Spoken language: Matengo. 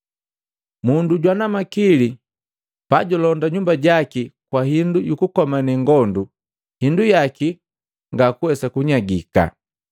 “Mundu jwana makili pajulonda nyumba jaki kwa hindu yukukomane ngondu, hindu yaki ngakuwesa kunyagika.